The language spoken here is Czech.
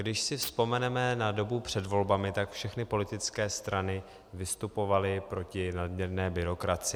Když si vzpomeneme na dobu před volbami, tak všechny politické strany vystupovaly proti nadměrné byrokracii.